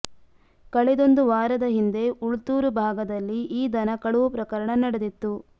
ಕಳೆದೊಂದು ವಾರದ ಹಿಂದೆ ಉಳ್ತೂರು ಭಾಗದಲ್ಲಿ ಈ ದನ ಕಳವು ಪ್ರಕರಣ ನಡೆದಿತ್ತು